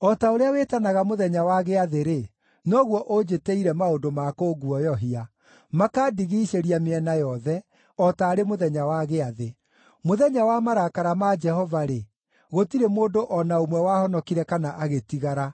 “O ta ũrĩa wĩtanaga mũthenya wa gĩathĩ-rĩ, noguo ũnjĩtĩire maũndũ ma kũnguoyohia, makandigiicĩria mĩena yothe o taarĩ mũthenya wa gĩathĩ. Mũthenya wa marakara ma Jehova-rĩ, gũtirĩ mũndũ o na ũmwe wahonokire kana agĩtigara;